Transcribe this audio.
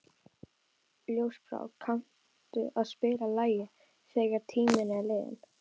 Ljósbrá, kanntu að spila lagið „Þegar tíminn er liðinn“?